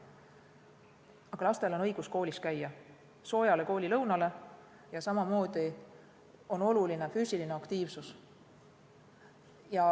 Aga lastel on õigus koolis käia ja saada sooja koolilõunat ning samamoodi on oluline laste füüsiline aktiivsus.